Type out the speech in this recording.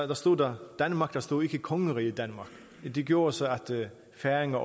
der stod danmark der stod ikke kongeriget danmark det gjorde så at færingerne